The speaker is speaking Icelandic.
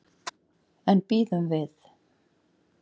En bíðum við.